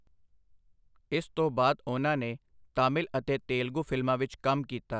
ਇਸ ਤੋਂ ਬਾਅਦ ਉਹਨਾਂ ਨੇ ਤਾਮਿਲ ਅਤੇ ਤੇਲਗੂ ਫ਼ਿਲਮਾਂ ਵਿੱਚ ਕੰਮ ਕੀਤਾ।